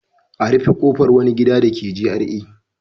A rufe kofar wani gida dake GRA.